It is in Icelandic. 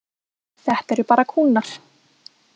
Þetta eru bara kúnnar.